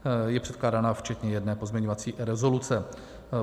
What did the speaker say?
Je předkládána včetně jedné pozměňující rezoluce.